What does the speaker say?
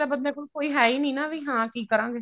ਬੰਦੇ ਕੋਲ ਕੋਈ ਹੈ ਹੀ ਨਹੀਂ ਨਾ ਵੀ ਕੀ ਕਰਾਂਗੇ